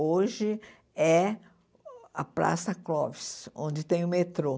Hoje é a Praça Clóvis, onde tem o metrô.